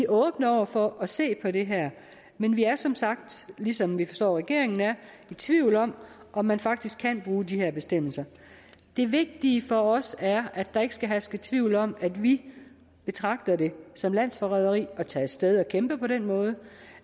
åbne over for at se på det her men vi er som sagt ligesom vi forstår regeringen er i tvivl om om man faktisk kan bruge de her bestemmelser det vigtige for os er at der ikke skal herske tvivl om at vi betragter det som landsforræderi at tage af sted og kæmpe på den måde